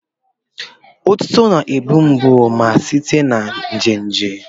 Otuto na-egbu mgbu ma na-esite na nje nje.